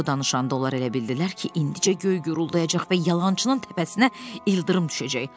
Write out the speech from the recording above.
Co danışanda onlar elə bildilər ki, indicə göy guruldayacaq və yalançının təpəsinə ildırım düşəcək.